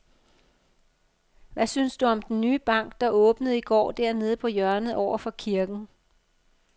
Hvad synes du om den nye bank, der åbnede i går dernede på hjørnet over for kirken?